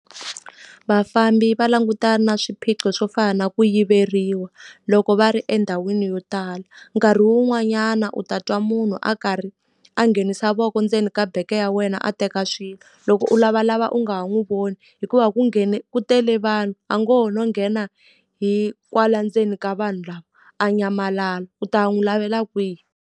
Vafambi va langutana na swiphiqo swo fana na ku yiveriwa, loko va ri endhawini yo tala. Nkarhi wun'wanyana u ta twa munhu a karhi a nghenisa voko ndzeni ka bege ya wena a teka swilo, loko u lavalava u nga ha n'wi voni. Hikuva ku nghene ku tele vanhu, a ngo ho no nghena hi kwala ndzeni ka vanhu lava a nyamalala. U ta n'wi lavela kwihi?